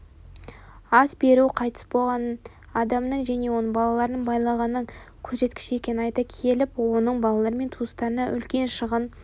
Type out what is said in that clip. ас беру қайтыс болған адамның және оның балаларының байлығының көрсеткіші екенін айта келіп оның балалары мен туыстарына үлкен шығын